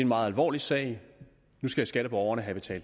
meget alvorlig sag nu skal skatteborgerne have